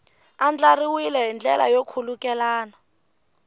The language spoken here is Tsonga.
andlariwile hi ndlela yo khulukelana